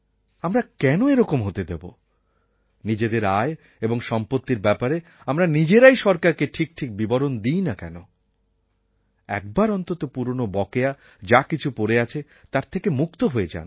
আমরা কেন এরকম হতে দেবো নিজেদের আয় এবং সম্পত্তির ব্যাপারে আমরা নিজেরাই সরকারকে ঠিক ঠিক বিবরণ দিই না কেন একবার অন্তত পুরনো বকেয়া যাকিছু পড়ে আছে তার থেকে মুক্ত হয়ে যান